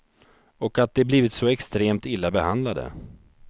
Och att de blivit så extremt illa behandlade.